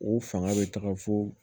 O fanga bɛ taga fo